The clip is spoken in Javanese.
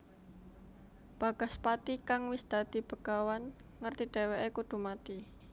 Bagaspati kang wis dadi begawan ngerti dhèwèké kudu mati